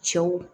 Cɛw